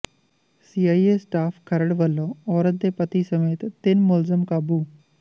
C I A staff Kharar ਵਲੋਂ ਔਰਤ ਦੇ ਪਤੀ ਸਮੇਤ ਤਿੰਨ ਮੁਲਜਮ ਕਾਬੂ